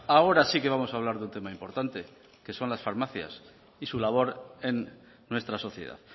ahora sí que vamos a hablar de un tema importante que son las farmacias y su labor en nuestra sociedad